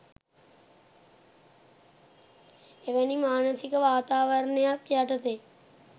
එවැනි මානසික වාතාවරණයක් යටතේ